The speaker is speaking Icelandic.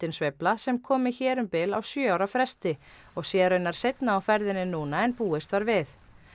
sveifla sem komi hér um bil á sjö ára fresti og sé raunar seinna á ferðinni núna en búist var við